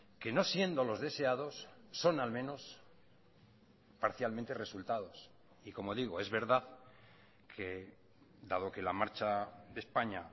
que no siendo los deseados son al menos parcialmente resultados y como digo es verdad que dado que la marcha de españa